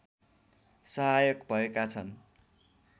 सहायक भएका छन्